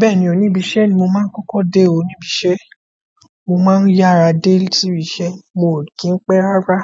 Bẹ́ẹ̀ni o, níbi iṣẹ́ ni mo máa ń kọ́kọ́ dé o níbi iṣẹ́. Mo máa ń yára dé sí ibi iṣẹ́, mì ò kí ń pẹ́ rárá.